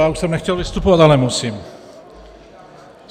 Já už jsem nechtěl vystupovat, ale musím.